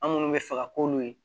An minnu bɛ fɛ ka k'olu ye